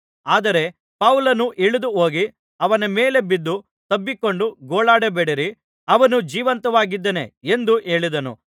ಆದರೆ ಪೌಲನು ಇಳಿದು ಹೋಗಿ ಅವನ ಮೇಲೆ ಬಿದ್ದು ತಬ್ಬಿಕೊಂಡು ಗೋಳಾಡಬೇಡಿರಿ ಅವನು ಜೀವಂತವಾಗಿದ್ದಾನೆ ಎಂದು ಹೇಳಿದನು